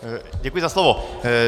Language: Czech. Děkuji za slovo.